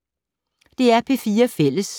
DR P4 Fælles